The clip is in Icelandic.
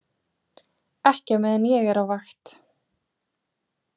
Ekki á meðan ég er á vakt